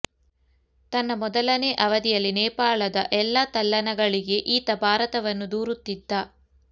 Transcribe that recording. ತನ್ನ ಮೊದಲನೇ ಅವಧಿಯಲ್ಲಿ ನೇಪಾಳದ ಎಲ್ಲ ತಲ್ಲಣಗಳಿಗೆ ಈತ ಭಾರತವನ್ನು ದೂರುತ್ತಿದ್ದ